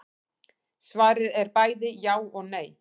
Svarið er bæði já og nei.